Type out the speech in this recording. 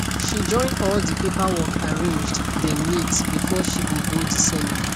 she join all de paperwork arranged dem neat before she go go de seminar